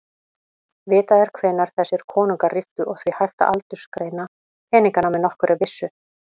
Vitað er hvenær þessir konungar ríktu og því hægt að aldursgreina peningana með nokkurri vissu.